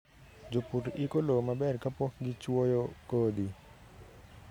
Jopur iko lowo maber kapok gichwoyo kodhi.